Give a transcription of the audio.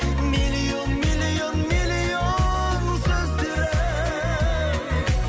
миллион миллион миллион сөздері